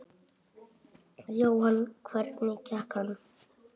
Jóhann: Hvernig gekk hann?